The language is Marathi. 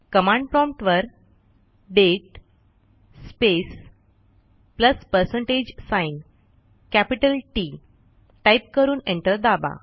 कमांड promptवर date space plus percentage sign capital T type करून एंटर दाबा